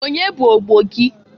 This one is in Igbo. Onye bụ ogbo gị?